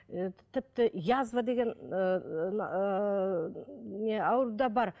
ы тіпті язва деген ыыы не ауру да бар